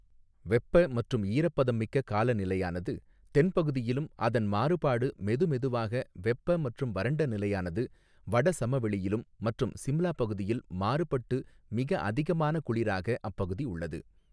வெப்ப மற்றும் ஈரப்பதம் மிக்க காலநிலையானது தென்பகுதியிலும் அதன் மாறுபாடு மெதுமெதுவாக வெப்ப மற்றும் வறண்ட நிலையானது வடசமவெளியிலும் மற்றும் சிம்லா பகுதியில் மாறுபட்டு மிக அதிகமான குளிராக அப்பகுதி உள்ளது.